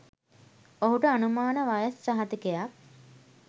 ඔහුට අනුමාන වයස් සහතිකයක්